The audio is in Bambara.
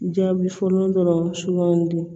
Jaabi fɔlɔ dɔrɔn sugandi